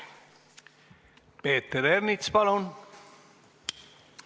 Peeter Ernits, palun!